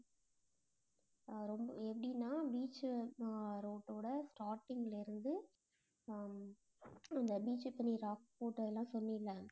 அஹ் ரொம்ப எப்படின்னா, beach அஹ் ரோட்டோட starting ல இருந்து, அஹ் இந்த beach இப்ப rock port அதெல்லாம் சொன்னீல்ல